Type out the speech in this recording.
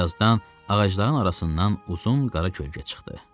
Bir azdan ağacların arasından uzun qara kölgə çıxdı.